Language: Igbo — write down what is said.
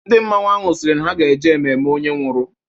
Ndị mmanwụ ahụ sịrị na ha ga-eje mmemme onye nwụrụ.